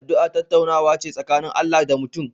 Addu'a tattaunawa ce tsakanin Allah da mutum